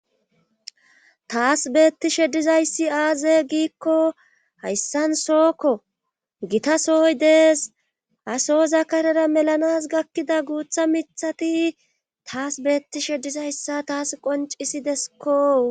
taas beettishe dizayssi aaze giikko hayssan sookko gita sooy dees ha soza karera melanas gakkida guutha mithati taas beetti shedizayssa taas qoncisideskko